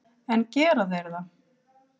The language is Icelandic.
En gera þeir það?